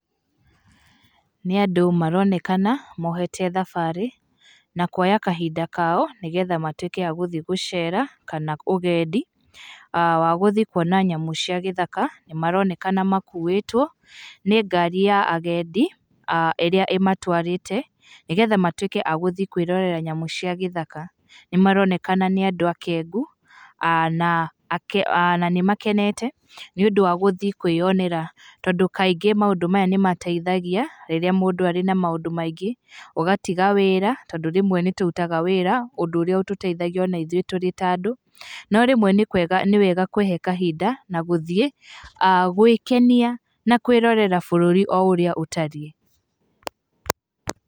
Nĩ andũ maronekana, mohete thabarĩ na kuoya kahinda kao nĩgetha matuĩke a gũthiĩ gũceera kana ũgendi, wa gũthiĩ kuona nyamũ cia gĩthaka. Nĩ maronekana makuĩtwo nĩ ngari ya agendi ĩrĩa ĩmatwarite, nĩgetha matuĩke a gũthiĩ kwĩrorera nyamũ cia gĩthaka. Nĩ maronekana nĩ andũ akengu na nĩ makenete nĩ ũndũ wa gíĩthiĩ kwĩyonera, tondũ kaingĩ maũndũ maya nĩ mateithagia rĩrĩa mũndũ arĩ na maũndũ maingĩ ũgatiga wĩra tondũ rĩmwe nĩtũrutaga wĩra ũndũ ũrĩa ũtũteithagia ona ithũĩ tũrĩ ta andũ, no rĩmwe nĩwega kwihe kahinda na gũthiĩ gwĩkenia na kwĩrorera bũrũri o ũrĩa ũtariĩ.